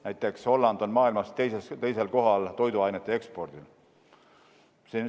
Näiteks Holland on maailmas toiduainete ekspordis teisel kohal.